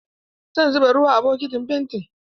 Zan zuba ruwa a bokitin fentin.